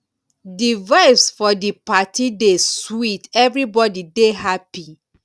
di vibes for di party dey sweet everybody dey happy.